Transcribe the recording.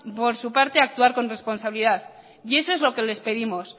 por su parte actuar con responsabilidad y eso es lo que les pedimos